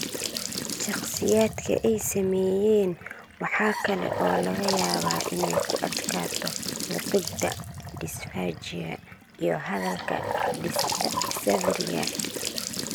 Shakhsiyaadka ay saameeyeen waxa kale oo laga yaabaa inay ku adkaato liqidda (dysphagia) iyo hadalka (dysarthria).